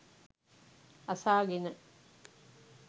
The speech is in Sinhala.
අසාගෙන